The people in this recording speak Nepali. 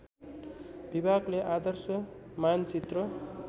विभागले आदर्श मानचित्र